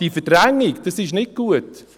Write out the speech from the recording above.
Diese Verdrängung ist nicht gut!